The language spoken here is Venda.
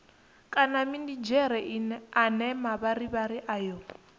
kana minidzhere ane mavharivhari ayo